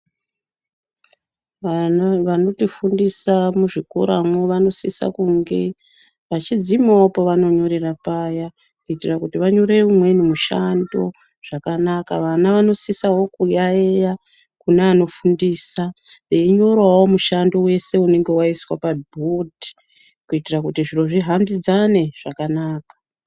Vanotifundisa muzvikoramo, vanosisa kunge vachidzimawo pavanyorera paya ,kuitira kuti vanyorewo umweni mushando zvakanaka. Vana vanosisawo kuyayiya kune anofundisa, beyinyorawo mushando wese unenge waiswa pabhodi ,kuitira kuti zvinhu zvihambidzane zvakanaka.